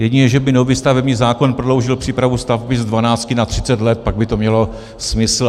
Jedině že by nový stavební zákon prodloužil přípravu stavby z 12 na 30 let, pak by to mělo smysl.